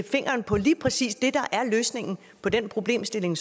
fingeren på lige præcis det der er løsningen på den problemstilling